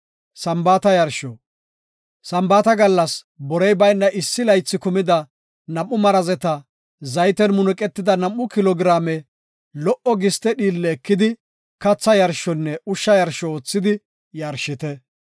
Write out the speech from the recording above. “Sambaata gallas borey bayna issi laythi kumida nam7u marazeta zayten munuqetida nam7u kilo giraame lo77o giste dhiille ekidi katha yarshonne ushsha yarsho oothidi yarshite.